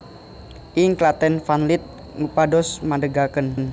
Ing Klaten Van Lith ngupados madegaken